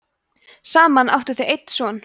saman áttu þau einn son